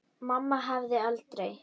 Mamma hefði aldrei.